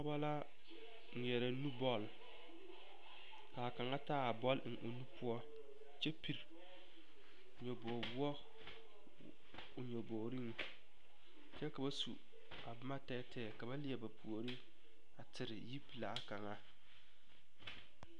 Pɔgeba ŋmeɛrɛ nu bɔl ka a kaŋa taa a bɔl eŋ o nu poɔ kyɛ pili nyobogi woɔ o nyobogriŋ kyɛ ka ba su a boma tɛɛtɛɛ ka ba leɛ ba puori a tere yipelaa kaŋa.